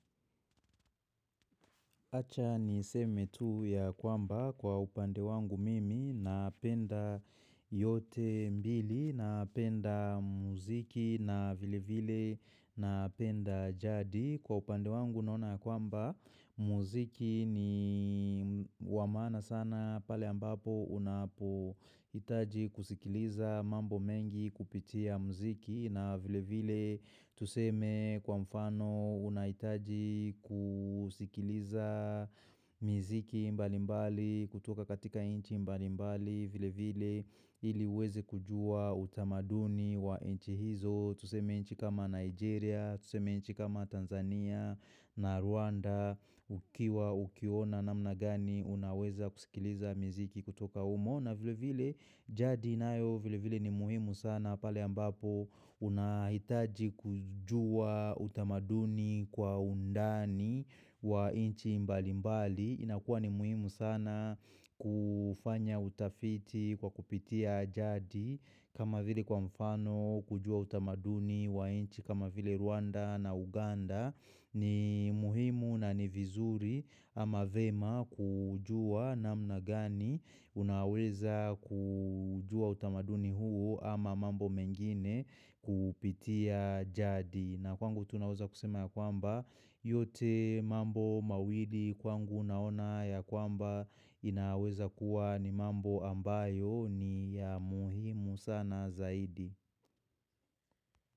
Acha niseme tu ya kwamba kwa upande wangu mimi napenda yote mbili napenda muziki na vile vile napenda jadi. Kwa upande wangu naona ya kwamba muziki ni wa maana sana pale ambapo unapohitaji kusikiliza mambo mengi kupitia muziki na vile vile tuseme kwa mfano unahitaji kusikiliza Acha niseme tu ya kwamba kwa upande wangu mimi napenda yote mbili napenda muziki na vile vile na penda jadi. Kwa upande wangu naona kwamba muziki ni wa maana sana pale ambapo unapohitaji kusikiliza mambo mengi kupitia muziki na vile vile tuseme kwa mfano unahitaji kusikiliza muziki mbalimbali kutoka katika inchi mbalimbali vile vile ili weze kujua utamaduni wa inchi hizo. Tuseme nchi kama Nigeria, tuseme nchi kama Tanzania na Rwanda Ukiwa ukiona namna gani unaweza kusikiliza miziki kutoka humo na vile vile jadi inayo vile vile ni muhimu sana pale ambapo unahitaji kujua utamaduni kwa undani wa nchi mbali mbali inakuwa ni muhimu sana kufanya utafiti kwa kupitia jadi inaweza kuwa ni mambo ambayo ni ya muhimu sana zaidi.